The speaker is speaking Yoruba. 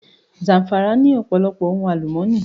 Zàm̀fàrà ní ọ̀pọ̀lọpọ̀ ohun àlùmọ́nì